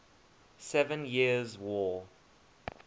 seven years war